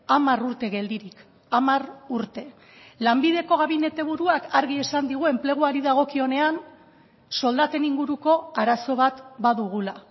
hamar urte geldirik hamar urte lanbideko gabinete buruak argi esan digu enpleguari dagokionean soldaten inguruko arazo bat badugula